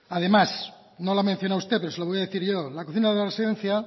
además no lo ha mencionado usted pero se lo voy a decir yo la cocina de la residencia